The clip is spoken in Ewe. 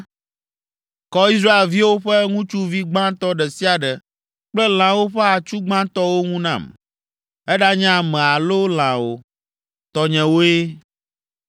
“Kɔ Israelviwo ƒe ŋutsuvi gbãtɔ ɖe sia ɖe kple lãwo ƒe atsu gbãtɔwo ŋu nam; eɖanye ame alo lã o, tɔnyewoe!”